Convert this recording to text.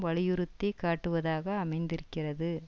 வலியுறுத்தி காட்டுவதாக அமைந்திருக்கிறது